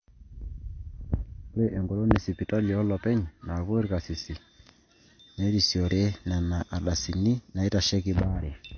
ore eng'olon oosipitalini oollopeny naapuo irkarsisi nerisiore nena ardasini naaitasheiki baare